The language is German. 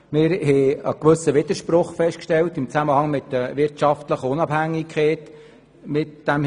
Wir stellten vor diesem Hintergrund einen gewissen Widerspruch im Zusammenhang mit der wirtschaftlichen Unabhängigkeit fest.